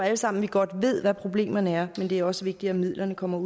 alle sammen godt ved hvad problemerne er men det er også vigtigt at midlerne kommer